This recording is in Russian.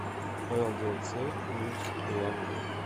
лдц мибс улан удэ